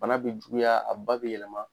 Bana bɛ juguya a ba bɛ yɛlɛma.